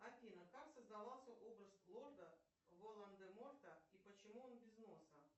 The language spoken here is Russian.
афина как создавался образ лорда волан де морта и почему он без носа